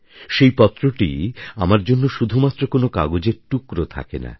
সেই পত্রটি আমার জন্যশুধুমাত্র কোন কাগজের টুকরো থাকে না